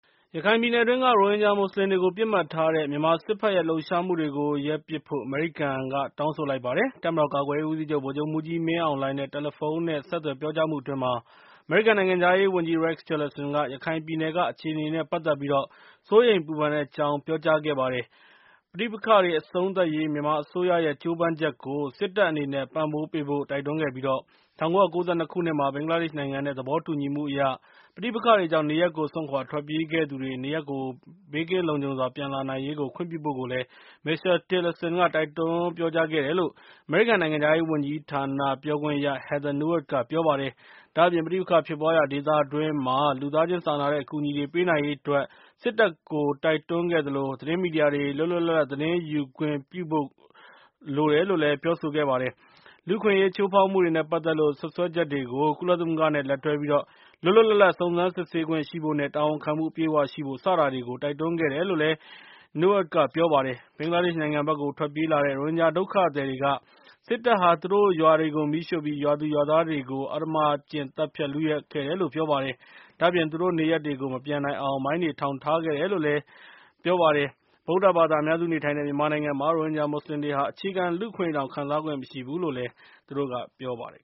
ရခိုင်ပြည်နယ်အတွင်းက ရိုဟင်ဂျာမူစလင်တွေကို ပစ်မှတ်ထားတဲ့ မြန်မာစစ်ဖက်ရဲ့ လှုပ်ရှားမှုတွေကို ရပ်ပစ်ဖို့ အမေရိကန်က တောင်းဆိုလိုက်ပါတယ်။ တပ်မတော် ကာကွယ်ရေးဦးစီးချုပ် ဗိုလ်ချုပ်မှူးကြီး မင်းအောင်လှိုင်နဲ့ တယ်လီဖုန်းဆက်သွယ် ပြောကြားမှုအတွင်း အမေရိကန်နိုင်ငံခြားရေးဝန်ကြီး Rex Tillerson က ရခိုင်ပြည်နယ်က အခြေအနေတွေနဲ့ ပါတ်သတ်ပြီး စိုးရိမ်ပူပန်ကြောင်း ပြောကြားခဲ့တာပါ။ ပဋိပက္ခတွေ အဆုံးသတ်ရေး မြန်မာအစိုးရရဲ့ ကြိုးပမ်းချက်ကို စစ်တပ်အနေနဲ့ ပံ့ပိုးပေးဖို့ တိုက်တွန်းခဲ့ပြီး ၁၉၉၂ ခုနှစ်မှာ ဘင်္ဂလားဒေ့ရှ်နိုင်ငံနဲ့ သဘောတူညီမှုအရ ပဋိပက္ခတွေကြောင့် နေရပ်ကို စွန့်ခွါထွက်ပြေးခဲ့သူတွေ နေရပ်ကို လုံခြုံဘေးကင်းစွာ ပြန်လာနိုင်ရေးtအတွက် ဘင်္ဂလားဒေ့ရှ်နဲ့ မြန်မာအကြား ၁၉၉၂ နှစ်က သဘောတူညီချက်အရ ခွင့်ပြုဖို့ကို မစ္စတာတေလာဆင်က တိုက်တွန်းပြောကြားခဲ့တယ်လို့ အမေရိကန်နိုင်ငံခြားရေးဌာန ပြောခွင့်ရ Heather Nauert က ပြောပါတယ်။ ဒါ့အပြင် ပဋိပက္ခဖြစ်ပွါးရာဒေသတွင်းမှာ လူသားချင်းစာနာတဲ့ အကူအညီတွေ ပေးနိုင်ရေးအတွက် စစ်တပ်ကို တိုက်တွန်းခဲ့သလို သတင်းမီဒီယာတွေ လွတ်လွတ်လပ်လပ် သတင်း ယူခွင့်ပြုဖို့လို့ ပြောဆိုခဲ့ပါတယ်။ လူ့အခွင့်အရေး ချိုးဖေါက်မှုတွေနဲ့ ပါတ်သတ်လို့စွပ်စွဲချက်တွေကို ကုလသမဂ္ဂနဲ့ လက်တွဲပြီး လွတ်လွတ်လပ်လပ် စုံစမ်းစစ်ဆေးခွင့်ရှိဖို့နဲ့ တာဝန်ခံမှု အပြည့်အ၀ ရှိဖို့ စတာတွေကိုလည်း တိုက်တွန်းခဲ့တယ်လို့ Nauert က ပြောပါတယ်။ ဘင်္ဂလားဒေ့ရှ်နိုင်ငံဘက်ကို ထွက်ပြေးလာတဲ့ ရိုဟင်ဂျာ ဒုက္ခသည်တွေက စစ်တပ်ဟာ သူတို့ရွာတွေကို မီးရှို့ပြီး ရွာသူရွာသားတွေကို အဓမ္မကျင့် သတ်ဖြတ် လုယက်တယ်လို့ ပြောပါတယ်။ ဒါ့အပြင် သူတို့နေရပ်တွေကို မပြန်နိုင်အောင် မိုင်းတွေ ထောင်ထားခဲ့တယ်လို့လည်း ပြောကြပါတယ်။ ဗုဒ္ဓဘာသာ အများစုနေထိုင်တဲ့ မြန်မာနိုင်ငံမှာ ရိုဟင်ဂျာမူစလင်တွေဟာ အခြေခံ လူ့အခွင့်အရေးတွေတောင် ခံစားခွင့်မရရှိဘူလို့လည်း သူတို့က ပြောပါတယ်